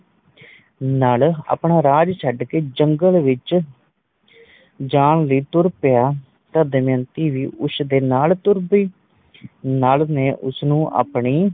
ਨੱਲ ਆਪਣਾ ਰਾਜ ਛੱਡ ਕੇ ਜੰਗਲ ਵਿਚ ਜਾਣ ਲਈ ਤੁਰ ਪਿਆ ਤਾ ਦਮਯੰਤੀ ਵੀ ਉਸ ਦੇ ਨਾਲ ਪਈ ਨੱਲ ਨੇ ਉਸਨੂੰ ਆਪਣੀ